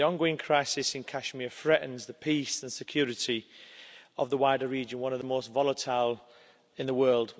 The ongoing crisis in Kashmir threatens the peace and security of the wider region one of the most volatile in the world.